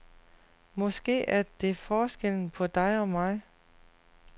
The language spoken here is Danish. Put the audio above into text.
Måske er det forskellen på dig og mig.